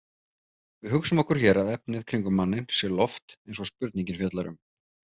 Við hugsum okkur hér að efnið kringum manninn sé loft eins og spurningin fjallar um.